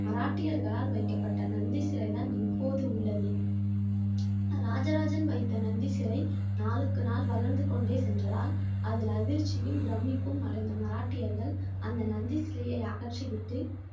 மராட்டியர்களால் வைக்கப்பட்ட நந்தி சிலை தான் இப்போது உள்ளது இராஜராஜன் வைத்த நந்தி சிலை நாளுக்கு நாள் வளர்ந்து கொண்டே சென்றதால் அதில் அதிர்ச்சியும் பிரம்மிப்பும் அடைந்த மராட்டியர்கள் அந்த நந்தி சிலையை அகற்றிவிட்டு